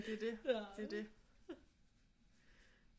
Ja det er det det er det